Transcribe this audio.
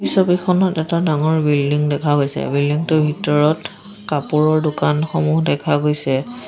এই ছবিখনত এটা ডাঙৰ বিল্ডিং দেখা গৈছে বিল্ডিঙটোৰ ভিতৰত কাপোৰৰ দোকানসমূহ দেখা গৈছে।